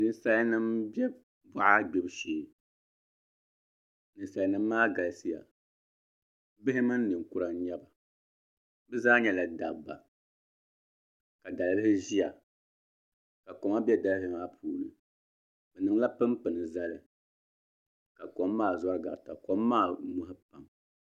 Ninsal nim n bɛ boɣa gbibu shee ninsal nim maa galisiya bihi mini ninkura n nyɛba bi zaa nyɛla dabba ka dalbili ʒiya ka koma bɛ dalibili maa puuni bi niŋla pinpini zali ka kom maa zori garita kom maa